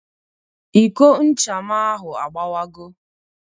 Iko ncha m ahụ agbawago